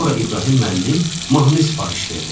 Sonra İbrahim müəllim mahnı sifariş verdi.